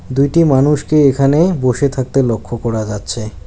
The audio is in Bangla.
দুইটি মানুষকে এখানে বসে থাকতে লক্ষ করা যাচ্ছে।